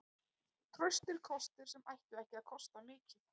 Traustir kostir sem ættu ekki að kosta mikið.